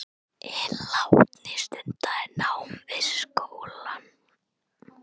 Hinn látni stundaði nám við skólann